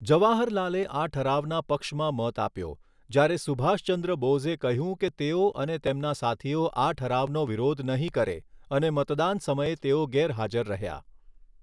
જવાહર લાલે આ ઠરાવના પક્ષમાં મત આપ્યો જ્યારે સુભાષ ચંદ્ર બોઝે કહ્યું કે તેઓ અને તેમના સાથીઓ આ ઠરાવનો વિરોધ નહીં કરે અને મતદાન સમયે તેઓ ગેરહાજર રહ્યા.